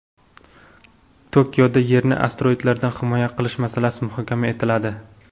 Tokioda Yerni asteroidlardan himoya qilish masalasi muhokama etiladi.